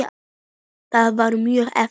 Það var mjög erfitt.